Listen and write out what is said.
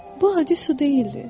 Bu adi su deyildi.